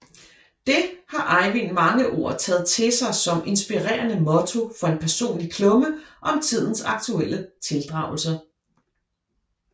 Det har Ejvind Mangeord taget til sig som inspirerende motto for en personlig klumme om tidens aktuelle tildragelser